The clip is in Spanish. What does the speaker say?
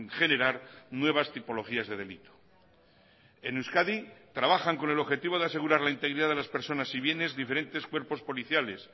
generar nuevas tipologías de delito en euskadi trabajan con el objetivo de asegurar la integridad de las personas y bienes diferentes cuerpos policiales